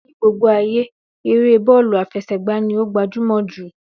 Ní gbogbo ayé, eré bọ́ọ̀lù àfẹsẹ̀gba ni ó gbajúmọ̀ jù